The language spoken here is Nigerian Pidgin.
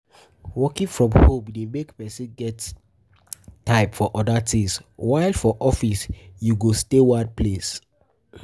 Working from home de make persin get make persin get time for other things while for office you go stay one place